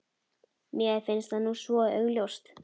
Mér finnst það nú svo augljóst.